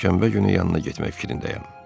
Şənbə günü yanına getmək fikrindəyəm.